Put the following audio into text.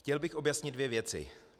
Chtěl bych objasnit dvě věci.